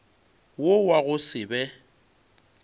wo wa go se be